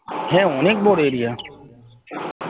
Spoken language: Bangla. হ্যাঁ অনেক বড় area